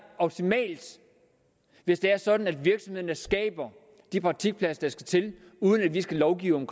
optimalt hvis det er sådan at virksomhederne skaber de praktikpladser der skal til uden at vi skal lovgive om